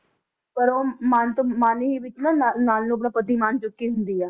ਪਰ ਉਹ ਮਨ ਤੋਂ ਮਨ ਹੀ ਵਿੱਚ ਨਾ~ ਨਲ ਨੂੰ ਆਪਣਾ ਪਤੀ ਮੰਨ ਚੁੱਕੀ ਹੁੰਦੀ ਆ